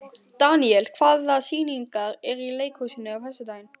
Daníela, hvaða sýningar eru í leikhúsinu á föstudaginn?